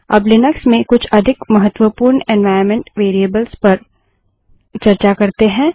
अब लिनक्स में कुछ अधिक महत्वपूर्ण एन्वाइरन्मेंट वेरिएबल्स पर चर्चा करते है